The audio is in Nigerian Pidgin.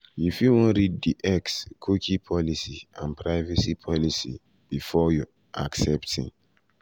you fit wan read di xcookie policyandprivacy policybefore accepting. policybefore accepting.